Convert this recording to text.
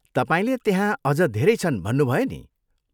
तपाईँले त्यहाँ अझ धेरै छन् भन्नुभयो नि?